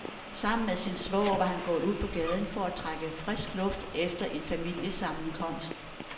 Sammen med sin svoger var han gået ud på gaden for at trække frisk luft efter en familiesammenkomst.